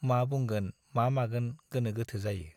मा बुंगोन मा मागोन गोनो गोथो जायो।